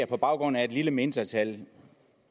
på baggrund af et lille mindretal ja